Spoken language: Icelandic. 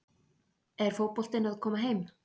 Er fótboltinn að koma heim?